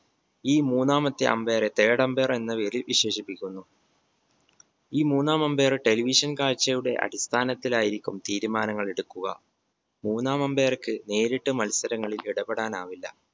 ഈ മൂന്നാമത്തെ umpire എ third umpire എന്ന പേരിൽ വിശേഷിപ്പിക്കുന്നു. ഈ മൂന്നാം umpire television കാഴ്ചയുടെ അടിസ്ഥാനത്തിലായിരിക്കും തീരുമാനങ്ങൾ എടുക്കുക മൂന്നാം umpire ക്ക് നേരിട്ട് മത്സരങ്ങളിൽ ഇടപെടാൻ ആവില്ല